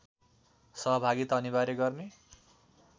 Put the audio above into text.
सहभागिता अनिवार्य गर्ने